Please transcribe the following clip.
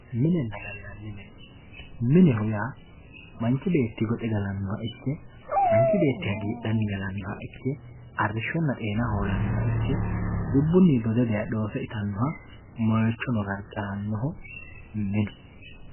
minenna gallanni mine mineho yaa manchi beeti goxe galannoha ikke manchi beetiti hagiidhanni gaannoha ikke moychonna xeena hoolannoha ikke dubbunni dode daye dhoose itannoha gargarannoho